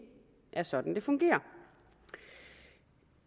er sådan det fungerer